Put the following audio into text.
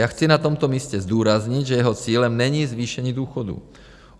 Já chci na tomto místě zdůraznit, že jeho cílem není zvýšení důchodů.